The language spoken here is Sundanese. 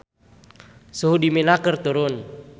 Suhu di Mina keur turun